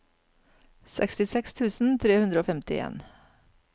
sekstiseks tusen tre hundre og femtien